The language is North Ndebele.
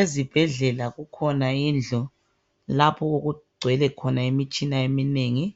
Ezibhedlela kukhona indlu lapho okungwele khona imitshina eminengi,